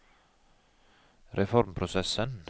reformprosessen